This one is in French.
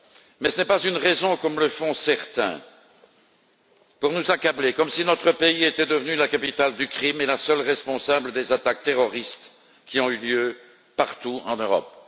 Mais ce n'est pas une raison, comme le font certains, pour nous accabler comme si notre pays était devenu la capitale du crime et le seul responsable des attaques terroristes qui ont eu lieu partout en Europe.